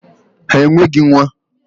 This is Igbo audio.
Ha enweghị nwa!